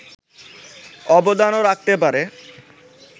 অবদানও রাখতে পারে